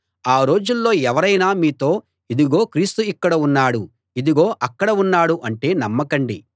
ఆ రోజుల్లో ఎవరైనా మీతో ఇదుగో క్రీస్తు ఇక్కడ ఉన్నాడు ఇదుగో అక్కడ ఉన్నాడు అంటే నమ్మకండి